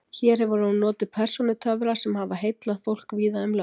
Hér hefur hún notið persónutöfra sem hafa heillað fólk víða um lönd.